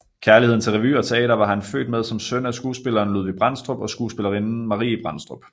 Kærligheden til revy og teater var han født med som søn af skuespilleren Ludvig Brandstrup og skuespillerinden Marie Brandstrup